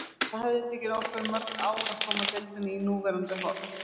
Það hefði tekið okkur mörg ár að koma deildinni í núverandi horf.